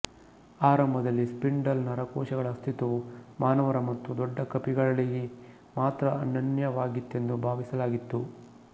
ಆರಂಭದಲ್ಲಿ ಸ್ಪಿಂಡಲ್ ನರಕೋಶಗಳ ಅಸ್ತಿತ್ವವು ಮಾನವರು ಮತ್ತು ದೊಡ್ಡ ಕಪಿಗಳಿಗೆ ಮಾತ್ರ ಅನನ್ಯವಾಗಿತ್ತೆಂದು ಭಾವಿಸಲಾಗಿತ್ತು